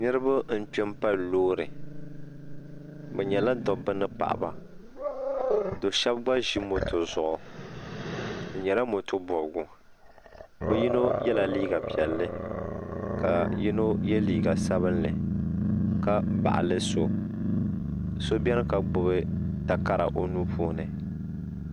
niraba n kpɛ n pali loori bi nyɛla dabba ni paɣaba do shab gba ʒi moto zuɣu di nyɛla moto bobgu bi yino yɛla liiga piɛlli ka yino yɛ liiga sabinli ka baɣali so so biɛni ka gbubi takara o nuu puuni